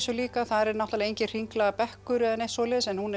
líka þar er náttúrulega enginn hringlaga bekkur eða neitt svoleiðis en hún er